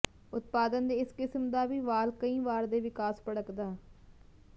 ਉਤਪਾਦਨ ਦੇ ਇਸ ਕਿਸਮ ਦਾ ਵੀ ਵਾਲ ਕਈ ਵਾਰ ਦੇ ਵਿਕਾਸ ਭੜਕਦਾ